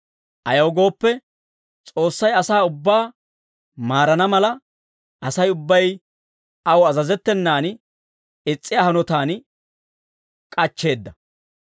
Ayaw gooppe, S'oossay asaa ubbaa maarana mala, Asay ubbay aw azazettenan is's'iyaa hanotaan k'achcheedda.